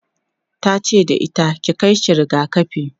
tace da ita"ki Kai shi rigakafi!'